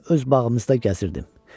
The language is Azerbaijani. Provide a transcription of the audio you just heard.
Mən öz bağımızda gəzirdim.